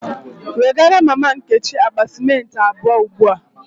Wegara mama Nkechi akpa cimenti abuo ugbua!